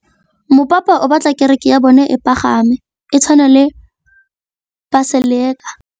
Mopapa o batla kereke ya bone e pagame, e tshwane le paselika.